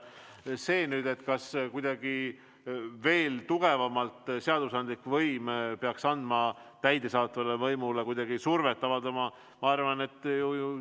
Kas seadusandlik võim peaks kuidagi veel tugevamalt täidesaatvale võimule survet avaldama?